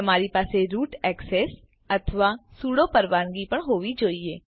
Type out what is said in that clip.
તમારી પાસે root access અથવા સૂડો પરવાનગી પણ હોવી જોઈએ